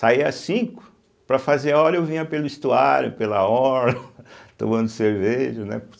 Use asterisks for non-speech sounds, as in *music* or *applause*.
Saía às cinco, para fazer hora eu vinha pelo estuário, pela orla, *laughs* tomando cerveja, né?